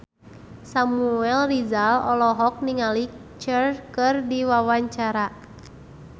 Samuel Rizal olohok ningali Cher keur diwawancara